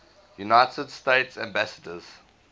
united states ambassadors